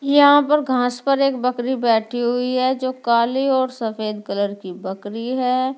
यहाँ पर घास पर एक बकरी बैठी हुई है जो काली और सफ़ेद कलर की बकरी है।